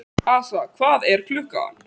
Hafey, viltu hoppa með mér?